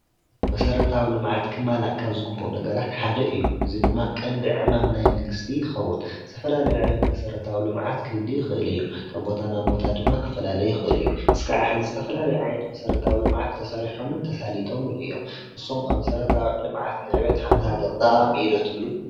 መሰረታዊ ልምዓት ክማላእ ካብ ዝግባእ ነገራት ሓደ እዩ ፡፡እዚ ድማ ልምዓት ቀንዲ ዕማምናይ መንግስቲ ይከዉንዝተፈላለዩ መሰረታዊ ልምዓት ክህልሉ ይክእል እዩ፡፡ ካብ ቦታ ናብ ቦታ ድማ ክፈላለይ ይክእል እዩ እስካዕ ሕዚ ዝተፈላለዩ ዓይነታት ልምዓት ተሰሪሐሙን ተሳሊጠሙን እዮም ንስኩን ከ መሰረታዊ ልምዓት ጠቃሚ እዩ ዶ ትብሉ?